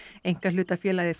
einkahlutafélagið